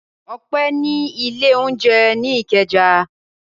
Ọpẹ́ ní ilé-oúnjẹ ní Ìkẹjà.